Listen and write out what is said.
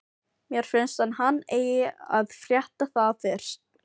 Mér finnst að hann eigi að frétta það fyrst.